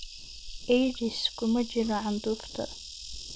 AIDS kuma jiro candhuufta